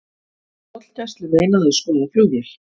Tollgæslu meinað að skoða flugvél